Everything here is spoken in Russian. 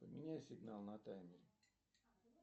поменяй сигнал на таймере